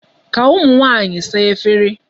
Ka ụmụ nwaanyị saa efere.